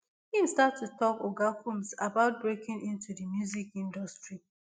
im start to talk oga combs about breaking into di music industry